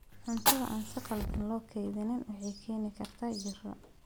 Cuntada aan si khaldan loo kaydin waxay keeni kartaa jirro.